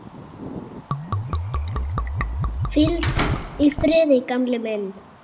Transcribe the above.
Hvíl í friði, gamli minn.